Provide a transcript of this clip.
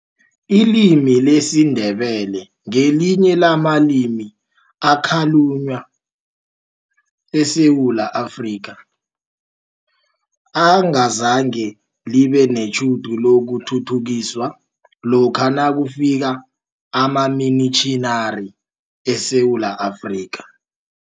Ilimi lesiNdebele ngelinye lamalimi ekhalunywa eSewula Afrika, engazange libe netjhudu lokuthuthukiswa lokha nakufika amamitjhinari eSewula Afrika.